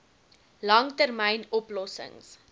lang termyn oplossings